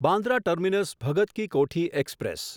Bandra terminus Bhagat ki Kothi express